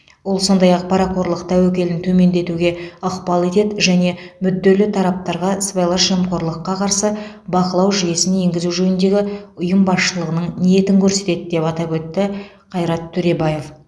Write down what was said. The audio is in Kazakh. ол сондай ақ парақорлық тәуекелін төмендетуге ықпал етеді және мүдделі тараптарға сыбайлас жемқорлыққа қарсы бақылау жүйесін енгізу жөніндегі ұйым басшылығының ниетін көрсетеді деп атап өтті қайрат төребаев